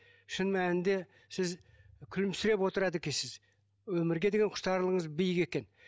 шын мәнінде сіз күлімсіреп отырады екенсіз өмірге деген құштарлығыңыз биік екен